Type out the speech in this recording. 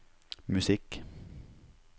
musikk